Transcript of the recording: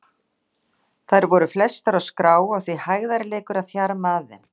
Þær voru flestar á skrá og því hægðarleikur að þjarma að þeim.